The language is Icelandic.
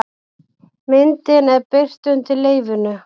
Myndin er birt undir leyfinu